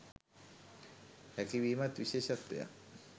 හැකි වීමත් විශේෂත්වයක්.